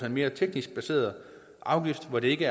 en mere teknisk baseret afgift hvor det ikke